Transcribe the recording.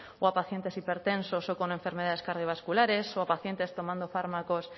o a pacientes hipertensos o con enfermedades cardiovasculares o a pacientes tomando fármacos